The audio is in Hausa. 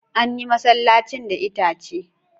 An yi masallacin da itace.